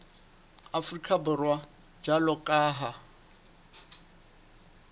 afrika borwa jwalo ka ha